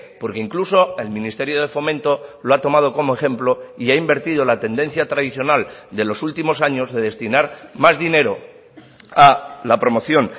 porque incluso el ministerio de fomento lo ha tomado como ejemplo y ha invertido la tendencia tradicional de los últimos años de destinar más dinero a la promoción